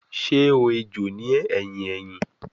Ṣe o ejò ni ẹhin ẹhin?